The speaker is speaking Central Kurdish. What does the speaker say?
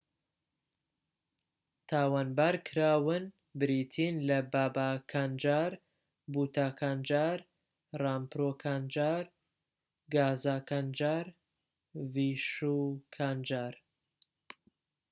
تاوانبارکراون بریتین لە بابا کانجار بوتا کانجار ڕامپرۆ کانجار گازا کانجار و ڤیشو کانجار